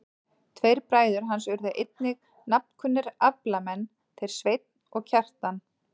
Tveir bræður hans urðu einnig nafnkunnir aflamenn, þeir Sveinn og Kjartan.